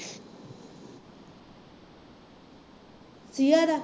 ਸੀਆ ਦਾ